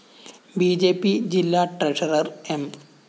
B J P ജില്ലാ treasurer M